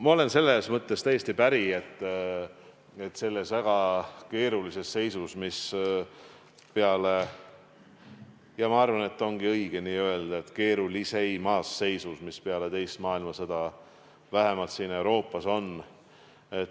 Ma olen selles mõttes täiesti päri, et me oleme selles väga keerulises seisus – ma arvan, et õige ongi öelda keerulisimas seisus, mis peale teist maailmasõda vähemalt siin Euroopas on.